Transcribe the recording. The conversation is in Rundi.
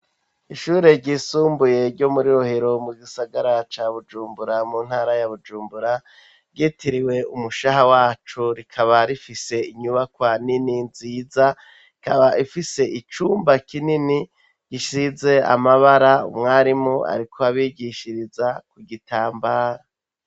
Ishure ryisumbuye, ryo muri Rohero mu gisagara ca Bujumbura, mu ntara ya Bujumbura, ryitiriwe umushaha wacu; rikaba rifise inyubakwa nini, nziza, ikaba ifise icumba kinini, gisize amabara; umwarimu ariko abigishiriza ku gitambara.